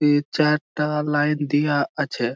এ চারটা লাইন দিয়া আছে।